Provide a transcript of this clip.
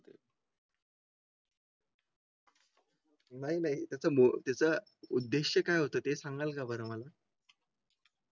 नाही नाही. त्याच्या मुळे त्याचा उद्देश काय होता ते सांगाल का बरं मला